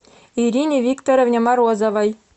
ирине викторовне морозовой